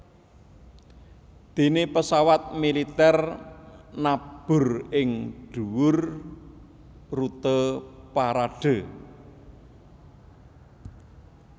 Déné pesawat militer nabur ing dhuwur rute parade